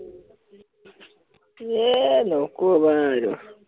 ইয়ে নকবা আৰু